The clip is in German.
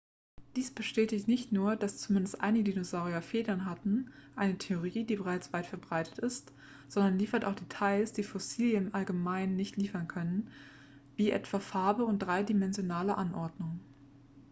dies bestätigt nicht nur dass zumindest einige dinosaurier federn hatten eine theorie die bereits weit verbreitet ist sondern liefert auch details die fossilien im allgemeinen nicht liefern können wie etwa farbe und dreidimensionale anordnung